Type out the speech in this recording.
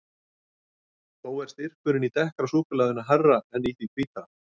Þó er styrkurinn í dekkra súkkulaðinu hærri en í því hvíta.